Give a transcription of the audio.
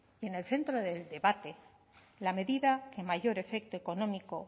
y en el centro de debate la medida que mayor efecto económico